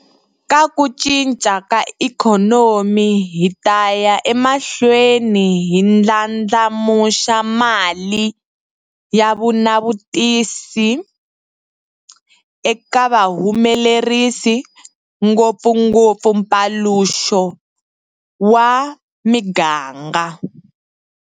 Ka ku cinca ka ikhonomi hi ta ya emahlweni hi ndlandlamuxa mali ya vunavetisi eka vahumelerisi, ngopfungopfu mpaluxo wa miganga.